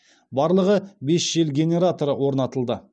барлығы бес жел генераторы орнатылды